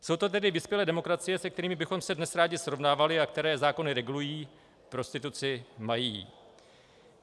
Jsou to tedy vyspělé demokracie, se kterými bychom se dnes rádi srovnávali a které zákony regulují, prostituci mají.